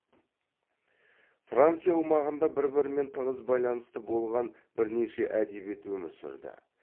франция аумағында бір бірімен тығыз байланысты болған бірнеше әдебиет өмір сүрді